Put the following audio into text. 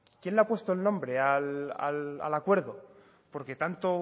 quién le ha puesto el nombre al acuerdo porque tanto